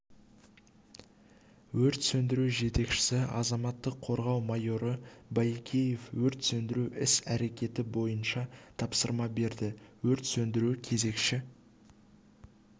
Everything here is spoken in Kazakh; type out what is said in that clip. өрт сөндіру жетекшісі азаматтық қорғау майоры баекеев өрт сөндіру іс-әрекеті бойынша тапсырма берді өрт сөндіру кезекші